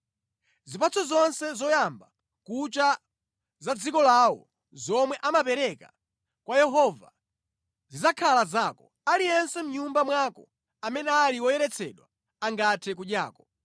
Zipatso zonse zoyamba kucha za mʼdziko lawo zomwe amapereka kwa Yehova zidzakhala zako. Aliyense mʼnyumba mwako amene ali woyeretsedwa angathe kudyako.